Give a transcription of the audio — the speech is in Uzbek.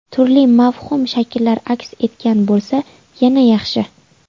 Turli mavhum shakllar aks etgan bo‘lsa, yana yaxshi.